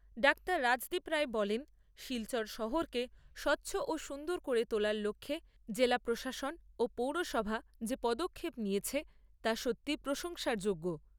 Doctor Rajdeep Roy বলেন শিলচর শহরকে স্বচ্ছ ও সুন্দর করে তোলার লক্ষ্যে জেলা প্রশাসন ও পৌরসভা যে পদক্ষেপ নিয়েছে তা সত্যি প্রশংসার যোগ্য।